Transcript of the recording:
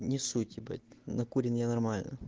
не суть ебать накурен я нормально